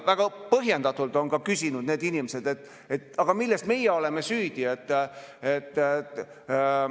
Väga põhjendatult on need inimesed küsinud: "Milles meie süüdi oleme?